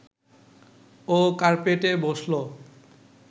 ও কার্পেটে বসল